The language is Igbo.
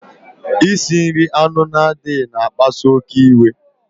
Isi nri anụ na-adịghị na akpasu oké iwe